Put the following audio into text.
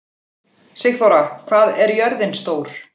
Sigþóra, hvað er jörðin stór?